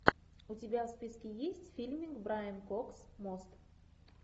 у тебя в списке есть фильмик брайан кокс мост